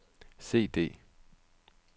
CD